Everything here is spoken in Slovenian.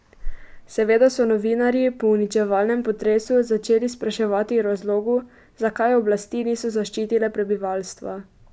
Seveda so novinarji po uničevalnem potresu začeli spraševati o razlogu, zakaj oblasti niso zaščitile prebivalstva.